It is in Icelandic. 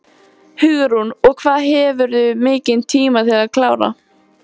Hugrún: Og hvað hefurðu mikinn tíma til að klára?